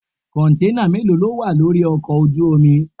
Kọ̀ǹténà mélòó ló wà lórí ọkọ̀ ojú omi?